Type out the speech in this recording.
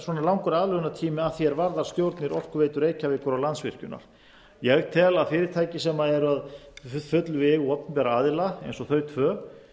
svona langur aðlögunartími að því er varðar stjórnir orkuveitu reykjavíkur og landsvirkjunar ég tel að fyrirtækjum sem eru að fullu í eigu opinberra aðila eins og þau tvö